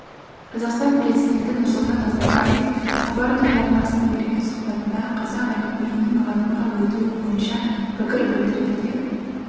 қазақстан президенті нұрсұлтан назарбаев хабар телеарнасына берген сұхбатында қазақ әліпбиінің латынға өтуі бойынша пікір білдірді деп